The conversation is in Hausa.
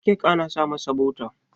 kek ana sa masa bota